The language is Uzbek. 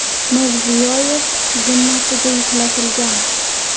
Mirziyoyev zimmasiga yuklatilgan.